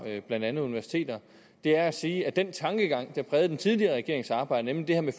blandt andet universiter er at sige at den tankegang der prægede den tidligere regerings arbejde nemlig det her med